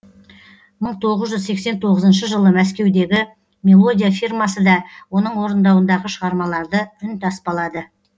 мың тоғыз жүз сексен тоғызыншы жылы мәскеудегі мелодия фирмасы да оның орындауындағы шығармаларды үнтаспалады